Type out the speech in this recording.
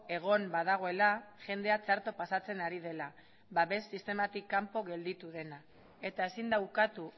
egon badagoela jendea txarto pasatzen ari dela babes sistema kanpo gelditu dena eta ezin da ukatu